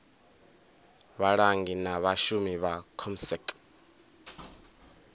vhalangi na vhashumi vha comsec